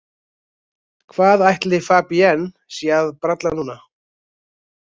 Hvað ætli Fabienne sé að bralla núna?